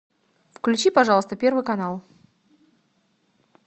включи пожалуйста первый канал